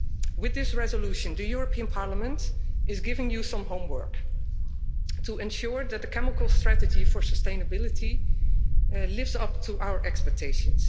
With this resolution, the European Parliament is giving the Commission some homework to ensure that the Chemical strategy for sustainability lives up to our expectations.